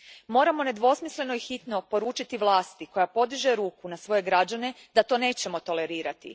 Moramo nedvosmisleno i hitno poručiti vlasti koja podiže ruku na svoje građane da to nećemo tolerirati.